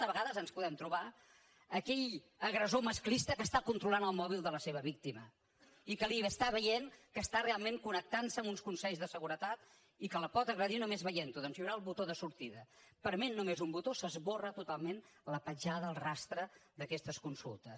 a vegades ens podem trobar aquell agressor masclista que està controlant el mòbil de la seva víctima i que està veient que està realment connectant se amb uns consells de seguretat i que la pot agredir només veient ho doncs hi haurà el botó de sortida prement només un botó s’esborra totalment la petjada el rastre d’aquestes consultes